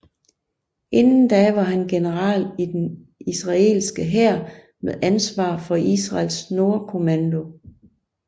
Inden da var han general i den israelske hær med ansvar for Israels Nordkommando